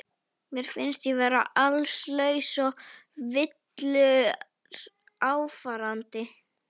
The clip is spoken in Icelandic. Mér finnst ég vera allslaus og villuráfandi.